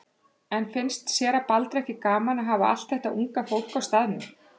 En finnst séra Baldri ekki gaman að hafa allt þetta unga fólk á staðnum?